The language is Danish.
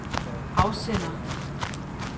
afsender